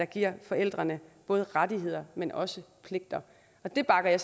giver forældrene både rettigheder men også pligter det bakker jeg